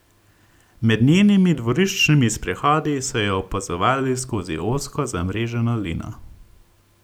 Med njenimi dvoriščnimi sprehodi so jo opazovali skozi ozko zamreženo lino.